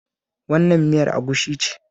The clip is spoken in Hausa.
Wannan miyar agushi ce